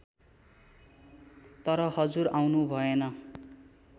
तर हजुर आउनु भएन